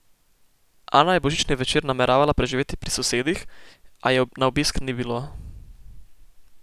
Ana je božični večer nameravala preživeti pri sosedih, a je na obisk ni bilo.